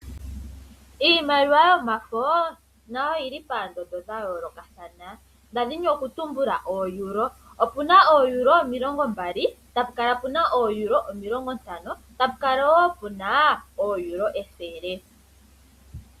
Iimaliwa yomafo nayo oyili poondondo dha yoolokathana nda dhini oku tumbula oo euro. Opuna oo euro omilongo omilongo mbali, opuna oo euro omilongo ntano, yapu kala wo puna oo euro ethele.